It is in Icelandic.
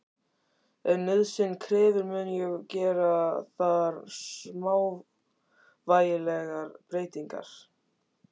Ef nauðsyn krefur mun ég gera þar smávægilegar breytingar.